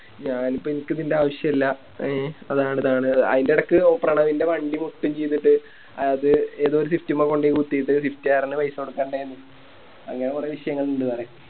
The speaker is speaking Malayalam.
ഞാനിപ്പോ എനിക്കിതിൻറെ ആവശ്യയില്ല എ അതാണിതാണ് അയിന്റെടക്ക് പ്രണവിൻറെ വണ്ടി പൊട്ടേം ചെയ്തിട്ട് അത് ഏതോ ഒരു Swift മ്മെ കൊണ്ട കുത്തിട്ട് Swift കാരന് പൈസ കൊടുക്കണ്ടേന്ന് അങ്ങനെ കൊറേ വിഷയങ്ങളിണ്ട് വേറെ